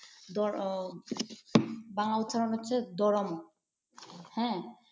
বাংলা উচ্চারণ হচ্ছে ধর্ম। হ্যাঁ!